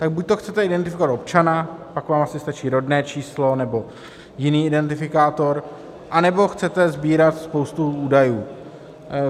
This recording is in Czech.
Tak buďto chcete identifikovat občana, pak vám asi stačí rodné číslo nebo jiný identifikátor, anebo chcete sbírat spoustu údajů.